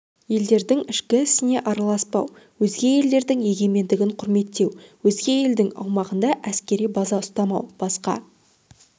елдердің ішкі ісіне араласпау өзге елдердің егемендігін құрметтеу өзге елдің аумағында әскери база ұстамау басқа